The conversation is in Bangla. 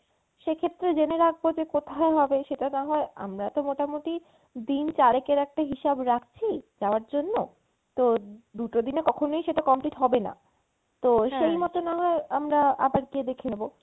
সেক্ষেত্রে জেনে রাখবো যে কোথায় হবে সেটা না হয় আমরা তো মোটামটি দিন চারেকের একটা হিসাব রাখছি যাওয়ার জন্য তো দুটো দিনে কখনোই সেটা complete হবেনা। তো সেইমতো না হয় আমরা আবার গিয়ে দেখে নেবো।